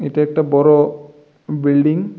এটা একটা বড় বিল্ডিং ।